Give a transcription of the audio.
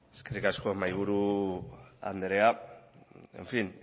eskerrik asko mahaiburu andrea en fin